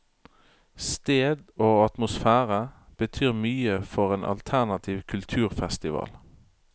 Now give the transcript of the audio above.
Sted og atmosfære betyr mye for en alternativ kulturfestival.